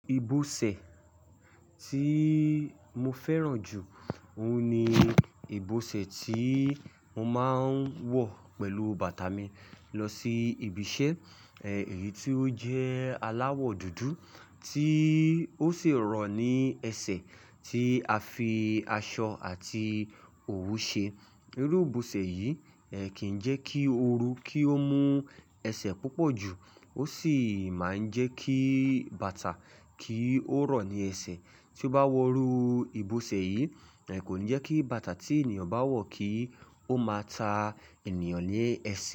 Ìbọsẹ̀ tí mo fẹ́ràn jù, òun ni ìbọsẹ̀ tí mo máa ń wọ̀ pẹ̀lú bàtà mi lọ sí ibiṣẹ́. Ẹ̀yi tí ó jẹ́ aláwọ̀ dúdú tí ó sì rọ̀ ní ẹsẹ̀ tí a fi aṣọ àti òwú ṣe. Irú ìbọsẹ̀ yìí kì í jẹ́ kí o rú kí ó mú ẹsẹ̀ púpọ̀ jù, ó sì máa ń jẹ́ kí bàtà kí ó rọ̀ ní ẹsẹ̀. Tí ó bá wọ rú ìbọsẹ̀ yìí, kò ní jẹ́ kí bàtà tí ènìyàn bá wọ̀ kí ó máa ta ènìyàn lé ẹsẹ̀